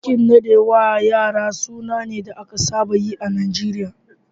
Bikin nada wa yara suna ne da aka saba yi a Najeriya